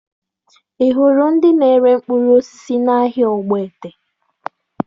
Ị hụrụ ndị na-ere mkpụrụ osisi n'ahịa Ogbete?